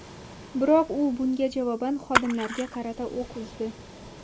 Biroq u bunga javoban xodimlarga qarata o‘q uzdi.